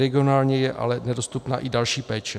Regionálně je ale nedostupná i další péče.